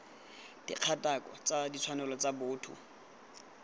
dikgatako tsa ditshwanelo tsa botho